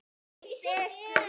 Þvílíkt dekur.